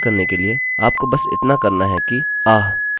अब स्पष्टतःइसको रिसेटresetकरने के लिए आपको बस इतना करना है कि